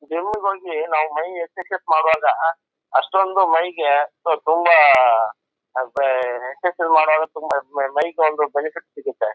Gym ಗೆ ಹೋಗಿ ನಾವು ಮೈ ಎಕ್ಸರ್ಸೈಜ್ ಮಾಡುವಾಗ ಅಷ್ಟೊಂದು ಮೈಗೆ ತುಂಬಾ ಎಕ್ಸರ್ಸೈಜ್ ಮಾಡುವಾಗ ತುಂಬಾ ಮೈಗೆ ಒಂದ್ ಬೆನಿಫಿಟ್ ಸಿಗುತ್ತೆ.